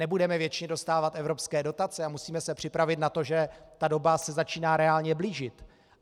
Nebudeme věčně dostávat evropské dotace a musíme se připravit na to, že ta doba se začíná reálně blížit.